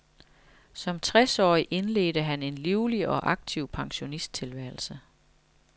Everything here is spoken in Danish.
Som tres årig indledte han en livlig og aktiv pensionisttilværelse.